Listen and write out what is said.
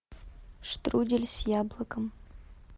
штрудель с яблоком